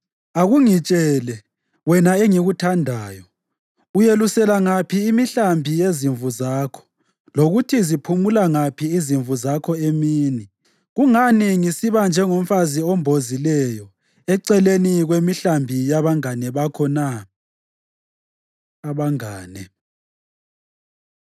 Akungitshele, wena engikuthandayo, uyelusela ngaphi imihlambi yezimvu zakho lokuthi ziphumula ngaphi izimvu zakho emini? Kungani ngisiba njengomfazi ombozileyo eceleni kwemihlambi yabangane bakho na? Abangane